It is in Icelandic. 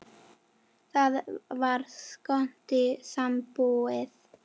Það var skondin sambúð.